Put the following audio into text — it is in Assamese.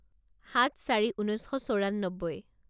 সাত চাৰি ঊনৈছ শ চৌৰান্নব্বৈ